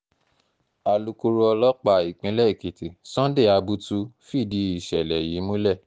alukoro ọlọ́pàá ìpínlẹ̀ èkìtì sunday abutu fìdí ìṣẹ̀lẹ̀ yìí múlẹ̀